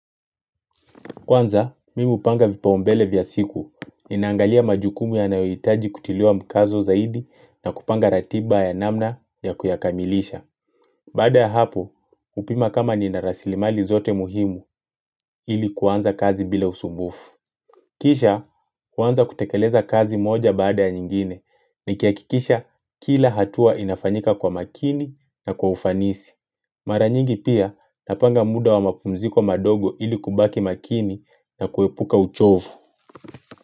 Kwanza, mimi hupanga vipaumbele vya siku. Ninaangalia majukumu yanayohitaji kutiliwa mkazo zaidi na kupanga ratiba ya namna ya kuyakamilisha. Baada ya hapo, hupima kama nina rasilimali zote muhimu ili kuanza kazi bila usumbufu. Kisha, huanza kutekeleza kazi moja baada ya nyingine. Nikihakikisha, kila hatua inafanyika kwa makini na kwa ufanisi. Mara nyingi pia napanga muda wa mapumziko madogo ili kubaki makini na kuepuka uchovu.